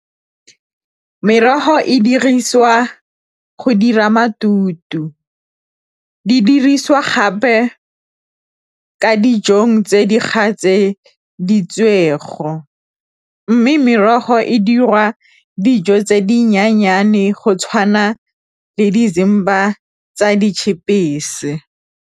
Merogo e dirisiwa go dira matute, di dirisiwa gape ka dijong tse di tse , mme merogo e dirwa dijo tse dinyenyane go tshwana le tsa .